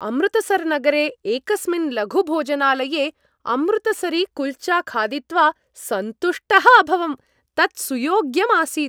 अमृतसर्नगरे एकस्मिन् लघुभोजनालये अमृतसरीकुल्चा खादित्वा सन्तुष्टः अभवम् तत् सुयोग्यम् आसीत्।